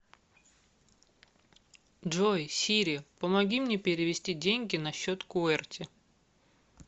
джой сири помоги мне перевести деньги на счет куэрти